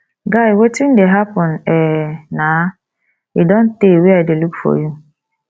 guy wetin dey happen um na e don tey wey i dey look for you